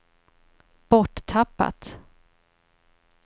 borttappat